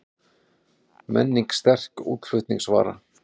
Menning sterk útflutningsvara